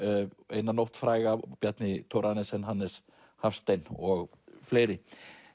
eina nótt fræga Bjarni Thorarensen Hannes Hafstein og fleiri